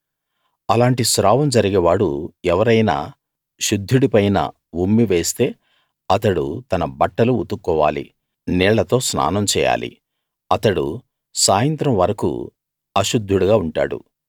అలాంటి స్రావం జరిగే వాడు ఎవరైనా శుద్ధుడి పైన ఉమ్మి వేస్తే అతడు తన బట్టలు ఉతుక్కోవాలి నీళ్ళతో స్నానం చేయాలి అతడు సాయంత్రం వరకూ అశుద్ధుడుగా ఉంటాడు